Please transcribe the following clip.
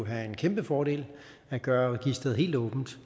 være en kæmpe fordel at gøre registeret helt åbent